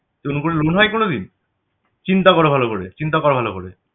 এরকম করে loan হয় কোনদিন? চিন্তা করো ভালো করে চিন্তা কর ভালো করে